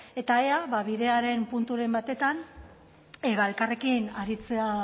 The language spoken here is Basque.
eta ea bidearen punturen batean elkarrekin aritzea